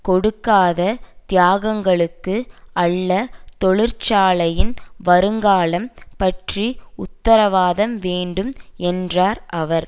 கொடுக்காத தியாகங்களுக்கு அல்ல தொழிற்சாலையின் வருங்காலம் பற்றி உத்தரவாதம் வேண்டும் என்றார் அவர்